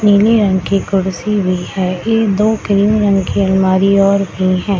नीले रंग की कुर्सी भी है ये दो क्रीम रंग की अलमारी और भी हैं।